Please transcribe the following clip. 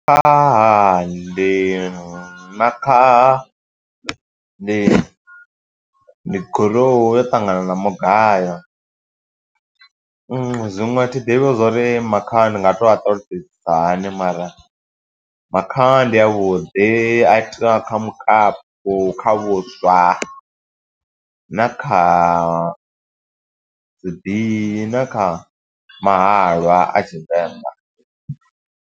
Ndi makhaha ndi, ndi gurowu yo ṱangana na mugayo. Zwiṅwe a thi ḓivhi zwo uri makhaha ndi nga to a ṱalutshedzisa hani mara, makhaha ndi a vhuḓi. A itiwa kha mukapu na kha vhuswa, na kha zwi, na kha mahalwa a Tshivenḓa.